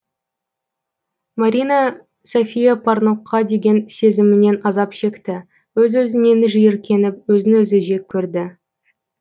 марина софия парнокқа деген сезімінен азап шекті өз өзінен жиіркеніп өзін өзі жек көрді